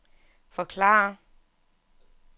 forklare